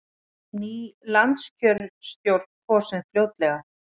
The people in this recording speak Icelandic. Ný landskjörstjórn kosin fljótlega